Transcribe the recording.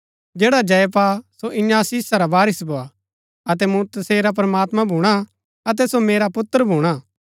जैडा जय पा सो इन्या आशीषा रा वारिस भोआ अतै मूँ तसेरा प्रमात्मां भूणा अतै सो मेरा पुत्र भूणा